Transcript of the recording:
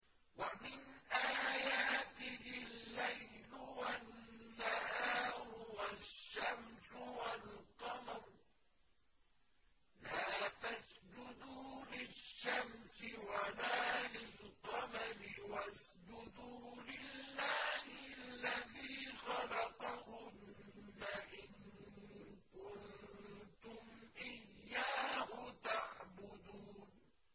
وَمِنْ آيَاتِهِ اللَّيْلُ وَالنَّهَارُ وَالشَّمْسُ وَالْقَمَرُ ۚ لَا تَسْجُدُوا لِلشَّمْسِ وَلَا لِلْقَمَرِ وَاسْجُدُوا لِلَّهِ الَّذِي خَلَقَهُنَّ إِن كُنتُمْ إِيَّاهُ تَعْبُدُونَ